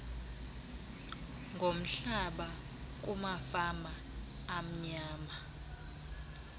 ngomhlaba kumafama amnyama